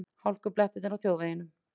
Hálkublettir á þjóðvegum